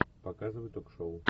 показывай ток шоу